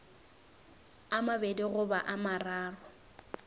a mabedi goba a mararo